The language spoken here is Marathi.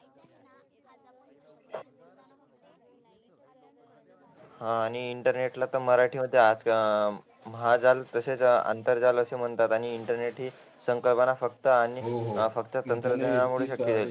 हा आणि इंटरनेट ला तर मराठीत महाजाल आंतरजाल असे म्हणतात आणि इंटरने सारखी संकल्पना फक्त आणि फक्त तंत्रज्ञानामुळे शक्य झाली आहे